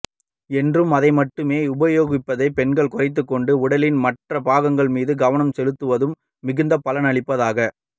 என்று அதை மட்டுமே உபயோகிப்பதைப் பெண் குறைத்துக்கொண்டு உடலின் மற்ற பாகங்கள் மீது கவனம் செலுத்துவதும் மிகுந்த பலன் அளிப்பதாக